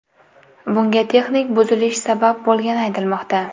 Bunga texnik buzilish sabab bo‘lgani aytilmoqda.